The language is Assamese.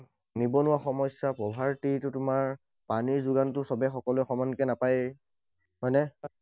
নিবনুৱা সমস্যা, poverty টো তোমাৰ, পানীৰ যোগানটো সৱে সকলোৱে সমানকে নাপায়য়ে। হয় নে?